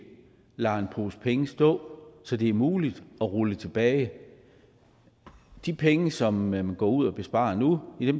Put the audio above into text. lader en pose penge stå som det er muligt at rulle tilbage de penge som man går ud og sparer nu